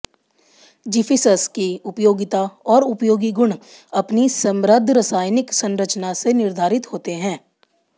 ज़िफ़िसस की उपयोगिता और उपयोगी गुण अपनी समृद्ध रासायनिक संरचना से निर्धारित होते हैं